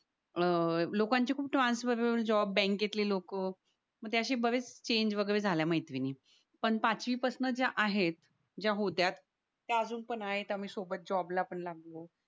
अह लोकांची खूप ट्रान्सफरर जॉब बँकेतली लोक म ते अशे बरेच चेंज झाल्या मैत्रिणी पण पाचवी पासन ज्या आहेत ज्या होत्या त्या अजून पण आहेत आम्ही सोबत जॉबला पण लागलो